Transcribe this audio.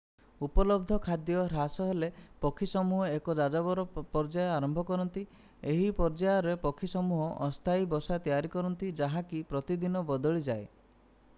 ଉପଲବ୍ଧ ଖାଦ୍ୟ ହ୍ରାସ ହେଲେ ପକ୍ଷୀ ସମୂହ ଏକ ଯାଯାବର ପର୍ଯ୍ୟାୟ ଆରମ୍ଭ କରନ୍ତି ଏହି ପର୍ଯ୍ୟାୟରେ ପକ୍ଷୀ ସମୂହ ଅସ୍ଥାୟୀ ବସା ତିଆରି କରନ୍ତି ଯାହାକି ପ୍ରତିଦିନ ବଦଳିଯାଏ